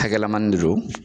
Hakɛlamani de don